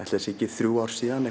þremur árum síðan